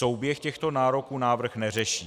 Souběh těchto nároků návrh neřeší.